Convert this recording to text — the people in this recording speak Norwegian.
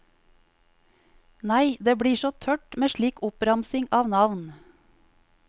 Nei, det blir så tørt med slik oppramsing av navn.